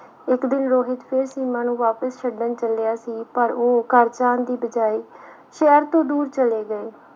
ਇੱਕ ਦਿਨ ਰੋਹਿਤ ਫਿਰ ਸੀਮਾ ਨੂੰ ਵਾਪਿਸ ਛੱਡਣ ਚੱਲਿਆ ਸੀ ਪਰ ਉਹ ਘਰ ਜਾਣ ਦੀ ਬਜਾਏ ਸ਼ਹਿਰ ਤੋਂ ਦੂਰ ਚਲੇ ਗਏ।